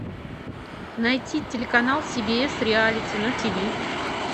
найти телеканал си би эс реалити на ти ви